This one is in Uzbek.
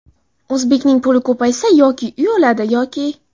O‘zbekning puli ko‘paysa yoki uy oladi yoki ..